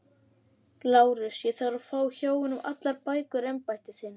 LÁRUS: Ég þarf að fá hjá honum allar bækur embættisins.